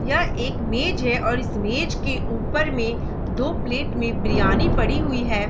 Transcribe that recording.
यह एक मेज है और इस मेज के ऊपर में दो प्लेट में बिरयानी पड़ी हुई है।